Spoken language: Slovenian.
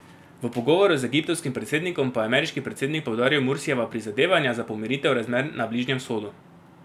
V pogovoru z egiptovskim predsednikom pa je ameriški predsednik poudaril Mursijeva prizadevanja za pomiritev razmer na Bližnjem vzhodu.